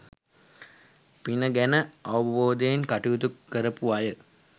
පින ගැන අවබෝධයෙන් කටයුතු කරපු අය